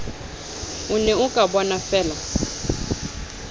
o ne o ka bonafeela